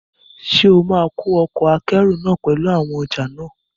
Ṣé ó ma kó ọkọ̀ akẹ́rù náà pẹ̀lú àwọn ọjà náà?